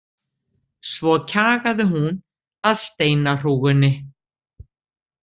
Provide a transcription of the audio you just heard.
Svo kjagaði hún að steinahrúgunni.